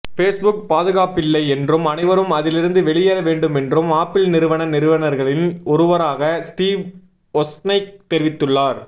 Facebook பாதுகாப்பில்லை என்றும் அனைவரும் அதிலிருந்து வெளியேற வேண்டுமென்றும் ஆப்பிள் நிறுவன நிறுவனர்களில் ஒருவரான ஸ்டீவ் ஒஸ்னைக் தெரிவித்துள்ளார்